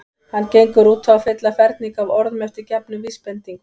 Hann gengur út á að fylla ferning af orðum eftir gefnum vísbendingum.